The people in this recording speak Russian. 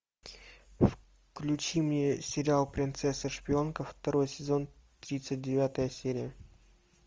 включи мне сериал принцесса шпионка второй сезон тридцать девятая серия